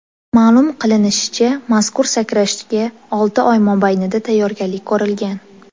Ma’lum qilinishicha, mazkur sakrashga olti oy mobaynida tayyorgarlik ko‘rilgan.